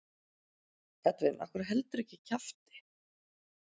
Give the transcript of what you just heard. Edwin af hverju heldurðu ekki kjafti?